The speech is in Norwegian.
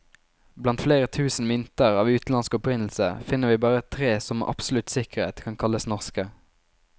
Blant flere tusen mynter av utenlandsk opprinnelse, finner vi bare tre som med absolutt sikkerhet kan kalles norske.